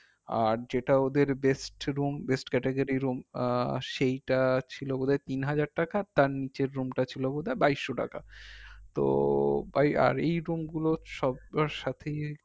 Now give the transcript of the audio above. আর যেটা ওদের best room best category room আহ সেইটা ছিল বোধাই তিন হাজার টাকা তার নিচের room টা ছিল বোধাই বাইশো টাকা তো ভাই আর এই room গুলো সবার সাথেই